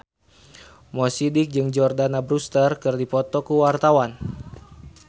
Mo Sidik jeung Jordana Brewster keur dipoto ku wartawan